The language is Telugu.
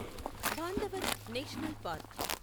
Bandhavgarh national park